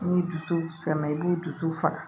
N'i dusu sɛmɛn i b'u dusu faga